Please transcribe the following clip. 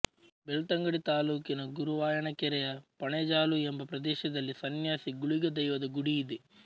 ಬೆಳ್ತಂಗಡಿ ತಾಲೂಕಿನ ಗುರುವಾಯಣಕೆರೆ ಯ ಪಣೆಜಾಲು ಎಂಬ ಪ್ರದೇಶದಲ್ಲಿ ಸನ್ಯಾಸಿ ಗುಳಿಗ ದೈವದ ಗುಡಿ ಇದೆ